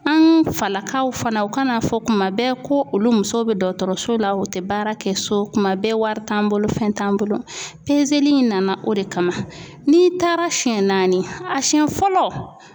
An falakaw fana u ka n'a fɔ kuma bɛɛ ko olu musow bɛ dɔgɔtɔrɔso la u tɛ baara kɛ so tuma bɛɛ wari t'an bolo fɛn t'an bolo in nana o de kama n'i taara siɲɛ naani a siɲɛ fɔlɔ.